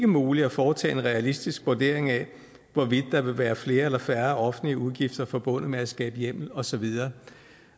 muligt at foretage en realistisk vurdering af hvorvidt der vil være flere eller færre offentlige udgifter forbundet med at skabe hjemmel og så videre